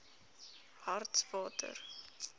hartswater